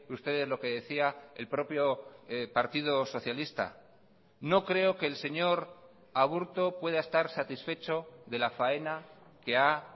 ustedes lo que decía el propio partido socialista no creo que el señor aburto pueda estar satisfecho de la faena que ha